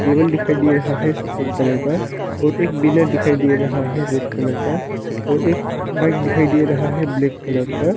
Table दिखाई दे रहा है सफेद कलर का और एक बिना दिखाई दे रहा है रेड कलर का और एक बाइक दिखाई दे रहा है ब्लैक कलर का।